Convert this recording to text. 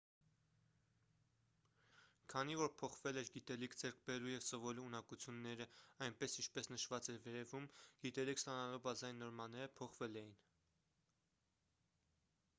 քանի որ փոխվել էր գիտելիք ձեռք բերելու և սովորելու ունակություններn այնպես ինչպես նշված էր վերևում գիտելիք ստանալու բազային նորմաները փոխվել էին: